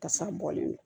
Kasa bɔlen don